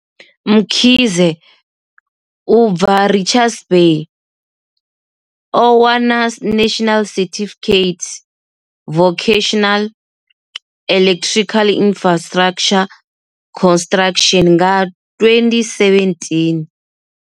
Mkhize, u bva Richards Bay, o wana National Certificate Vocational Electrical Infrastructure Construction nga 2017.